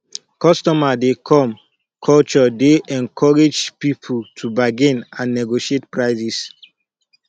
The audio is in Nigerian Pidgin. customer dey come culture dey encourage people to bargain and negotiate prices